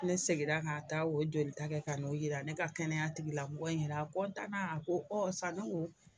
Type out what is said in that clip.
Ne seginna ka taa o jolita ka n'o jira ne ka kɛnɛya tigilamɔgɔ in na a a ko ɔ sani o